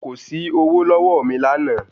Kò sí ọwó lọ́wọ́ mi lánàá